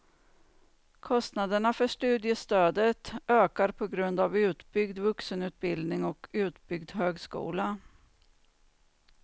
Kostnaderna för studiestödet ökar på grund av utbyggd vuxenutbildning och utbyggd högskola.